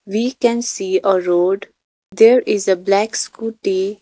we can see a road there is a black scooty.